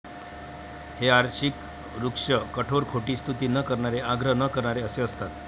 हे आर्षिक, ऋक्ष, कठोर, खोटी स्तुती न करणारे, आग्रह न करणारे असे असतात.